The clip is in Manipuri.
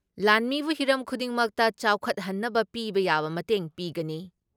ꯂꯥꯟꯃꯤꯕꯨ ꯍꯤꯔꯝ ꯈꯨꯗꯤꯡꯃꯛꯇ ꯆꯥꯎꯈꯠꯍꯟꯅꯕ ꯄꯤꯕ ꯌꯥꯕ ꯃꯇꯦꯡ ꯄꯤꯒꯅꯤ ꯫